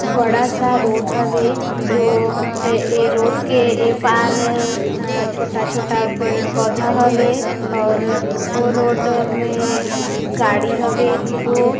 बड़ा सा रोड हवे जो है जो रोड के ए पार छोटा-छोटा पेड़ पौधा हवे और वह रोड में गाड़ी हवे दू गो --